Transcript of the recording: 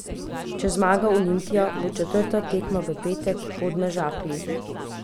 Če zmaga Olimpija, bo četrta tekma v petek v Podmežakli.